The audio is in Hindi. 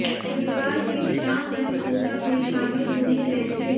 शनिवार की शाम वह पूजा में शामिल होने गए थे